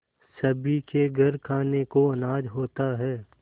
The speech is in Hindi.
सभी के घर खाने को अनाज होता है